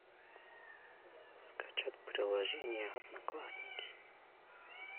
скачать приложение одноклассники